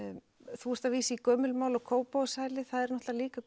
þú ert að vísa í gömul mál og Kópavogshælið það er náttúrulega líka